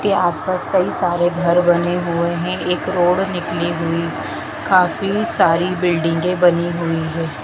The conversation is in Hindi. के आस पास कई सारे घर बने हुए हैं एक रोड निकली हुई काफी सारी बिल्डिंगे बनी हुई है।